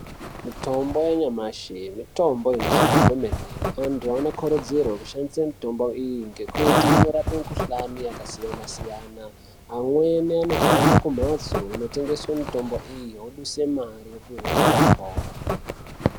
Mitombo yanyamashi mitombo inoshanda kwemene anthu anokurudzirwa kushandisa mutombo iyi ngekuti inorape mikuhlane yakasiyana siyana amweni anohambe kumhatso dzinotengeswe mutombo iyi opihwe mutombo iyi oduse mare opihwe mutombo.